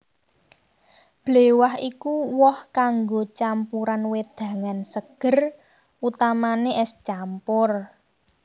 Bléwah iku woh kanggo campuran wedangan seger utamane es campur